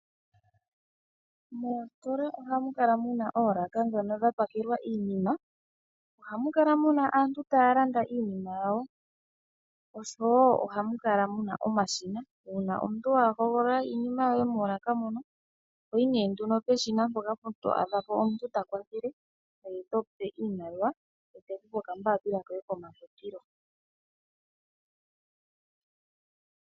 Moositola ohamu adhika oolaka ndhono dhapakelwa iinima. Ohamu kala mu na aantu taya landa iinima yawo oshowo omashina uuna omuntu wa hogolola iinima yoye moolaka, ohoyi peshina mpono to adha omuntu tukwathele ngweye tomu pe oshimaliwa ye teku pe okambaapila komafutilo.